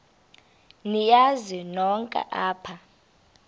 niyazi nonk apha